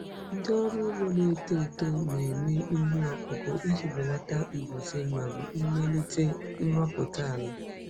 Ndị ọrụ ugbo na-eto eto na-eme ihe ọkụkụ iji belata mbuze ma melite nrụpụta ala.